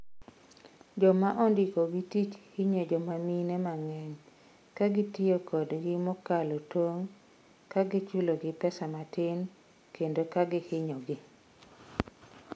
Joma ondikogi tich hinyo joma mine mang'eny, ka gitiyo kodgi mokalo tong', ka chulogi pesa matin, kendo ka hinyogi.